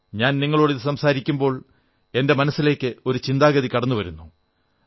ഞാൻ നിങ്ങളോട് ഇത് സംസാരിക്കുമ്പോൾ എന്റെ മനസ്സിലേക്ക് ഒരു ചിന്താഗതി കടന്നുവന്നു